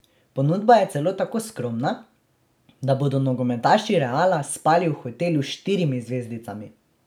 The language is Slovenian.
Ponudba je celo tako skromna, da bodo nogometaši Reala spali v hotelu s štirimi zvezdicami.